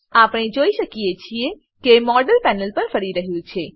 આપણે જોઈ શકીએ છીએ કે મોડેલ પેનલ પર ફરી રહ્યું છે